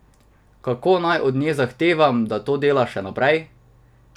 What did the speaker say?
Kako naj od nje zahtevam, da to dela še naprej?